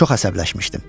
Çox əsəbləşmişdim.